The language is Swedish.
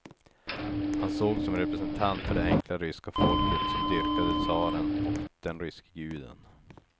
Han sågs som representant för det enkla ryska folket som dyrkade tsaren och den ryske guden.